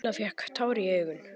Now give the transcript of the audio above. Lilla fékk tár í augun.